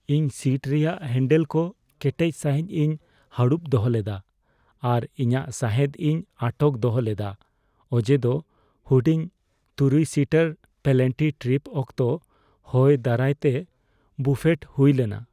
ᱤᱧ ᱥᱤᱴ ᱨᱮᱭᱟᱜ ᱦᱮᱹᱱᱰᱮᱞ ᱠᱚ ᱠᱮᱴᱮᱡ ᱥᱟᱹᱦᱤᱡ ᱤᱧ ᱦᱟᱹᱲᱩᱵ ᱫᱚᱦᱚ ᱞᱮᱫᱟ ᱟᱨ ᱤᱧᱟᱹᱜ ᱥᱟᱸᱦᱮᱫ ᱤᱧ ᱟᱴᱚᱠ ᱫᱚᱦᱚ ᱞᱮᱫᱟ ᱚᱡᱮᱫᱚ ᱦᱩᱰᱤᱧ ᱖ᱼᱥᱤᱴᱟᱨ ᱯᱞᱮᱱᱴᱤ ᱴᱨᱤᱯ ᱚᱠᱛᱚ ᱦᱚᱭ ᱫᱟᱨᱟᱭᱛᱮ ᱵᱩᱯᱷᱮᱴ ᱦᱩᱭ ᱞᱮᱱᱟ ᱾